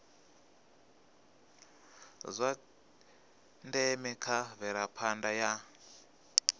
zwa ndeme kha mvelaphanda ya